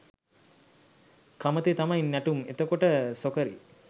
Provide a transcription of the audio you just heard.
කමතේ තමයි නැටුම් එතකොට සොකරි